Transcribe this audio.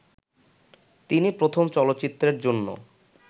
তিনি প্রথম চলচ্চিত্রের জন্য